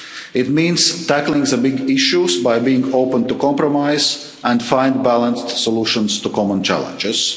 It means tackling the big issues by being open to compromise and finding balanced solutions to common challenges.